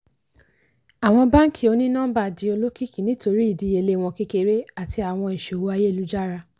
àwọn báànkì òní-nọ́ḿbà di olókìkí nítorí ìdíyelé wọn kékeré àti àwọn ìsowó ayélujara.